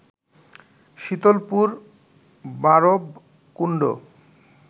Shitalpur, Barabkunda